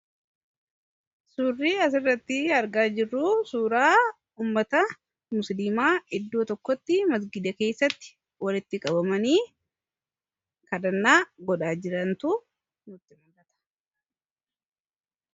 Suurri asirratti argaa jirru suuraa uummata musiliimaa iddoo tokkotti masgiida keessatti walitti qabamanii ladhannaa godhaa jirantu mul'ata.